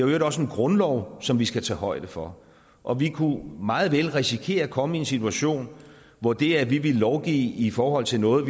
øvrigt også en grundlov som vi skal tage højde for og vi kunne meget vel risikere at komme i en situation hvor det at vi ville lovgive i forhold til noget